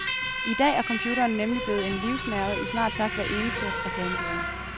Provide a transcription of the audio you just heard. I dag er computeren nemlig blevet en livsnerve i snart sagt hvert eneste reklamebureau.